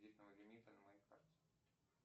кредитного лимита на моей карте